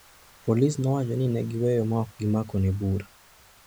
polisi nowacho ni ne giweye ma ok gimakone bura.